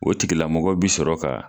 O tigilamɔgɔ bi sɔrɔ ka.